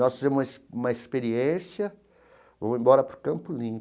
Nós fizemos uma ex uma experiência, vamos embora para o Campo